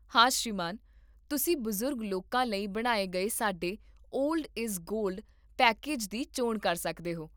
ਹਾ ਸ਼੍ਰੀਮਾਨ. ਤੁਸੀਂ ਬਜ਼ੁਰਗ ਲੋਕਾਂ ਲਈ ਬਣਾਏ ਗਏ ਸਾਡੇ 'ਓਲਡ ਇਜ਼ ਗੋਲਡ' ਪੈਕੇਜ ਦੀ ਚੋਣ ਕਰ ਸਕਦੇ ਹੋ